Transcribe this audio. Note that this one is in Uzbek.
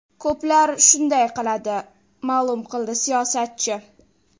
Ko‘plar shunday qiladi”, ma’lum qildi siyosatchi.